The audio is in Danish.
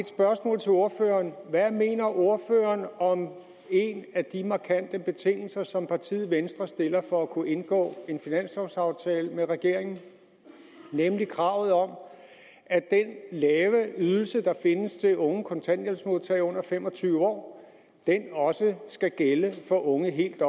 spørgsmål til ordføreren hvad mener ordføreren om en af de markante betingelser som partiet venstre stiller for at kunne indgå en finanslovaftale med regeringen nemlig kravet om at den lave ydelse der findes til unge kontanthjælpsmodtagere under fem og tyve år også skal gælde for unge helt